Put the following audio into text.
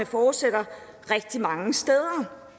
fortsætter rigtig mange steder